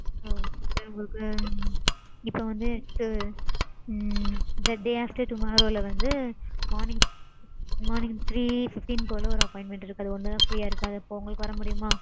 ஆஹ் sir. உங்களுக்கு இப்போ வந்து the day after tomorrow ல வந்து morning morning three fifteen போல ஒரு appointment இருக்கு அது ஒன்னுதா free ஆ இருக்கு அது உங்களுக்கு வர முடியுமா?